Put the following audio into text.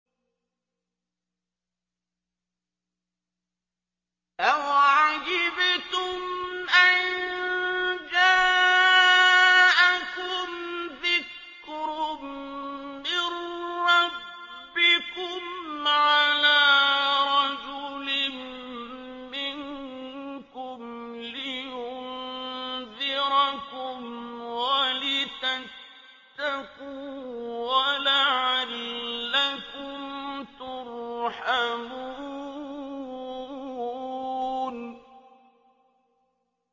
أَوَعَجِبْتُمْ أَن جَاءَكُمْ ذِكْرٌ مِّن رَّبِّكُمْ عَلَىٰ رَجُلٍ مِّنكُمْ لِيُنذِرَكُمْ وَلِتَتَّقُوا وَلَعَلَّكُمْ تُرْحَمُونَ